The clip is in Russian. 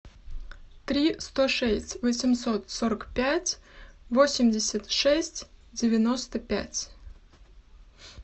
три сто шесть восемьсот сорок пять восемьдесят шесть девяносто пять